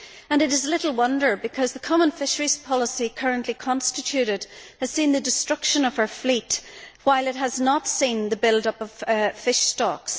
It is little wonder, because the common fisheries policy currently constituted has seen the destruction of our fleet but has not seen the build up of fish stocks.